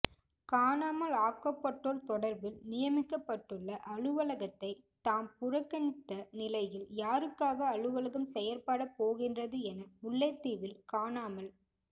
காணாமல் ஆக்கப்பட்டோர் தொடர்பில் நியமிக்கப்பட்டுள்ள அலுவலகத்தை தாம் புறக்கனித்த நிலையில் யாருக்காக அலுவலகம் செயற்பட போகின்றது என முல்லைத்தீவில் காணாமல்